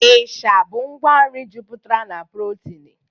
Ịsha bụ ngwa nri juputara na protini.